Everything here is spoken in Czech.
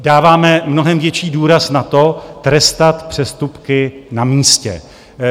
Dáváme mnohem větší důraz na to, trestat přestupky na místě.